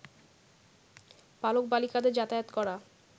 বালক-বালিকাদের যাতায়াত করা